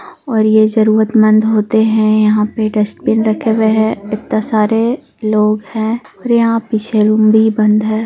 और ये जरूरतमंद होते है यहाँ पे डस्टबिन रखे हुए हैं इतने सारे लोग हैं और यहाँ पीछे रूम भी बंद है।